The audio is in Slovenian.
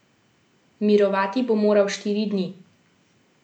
Mirovati bo moral štiri dni.